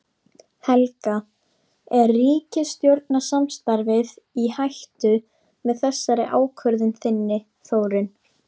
Helga: Er ríkisstjórnarsamstarfið í hættu með þessari ákvörðun þinni Þórunn?